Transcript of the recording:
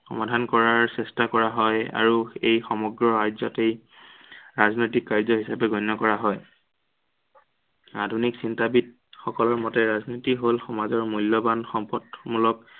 সমাধান কৰাৰ চেষ্টা কৰা হয়। আৰু এই সমগ্ৰ ৰাজ্য়কেই ৰাজনৈতিক কাৰ্য হিচাপে গ্ৰহণ কৰা হয়। আধুনিক চিন্তাবিদ সকলৰ মতে ৰাজনীতি হল সমাজৰ মূল্য়ৱান সম্পদমূলক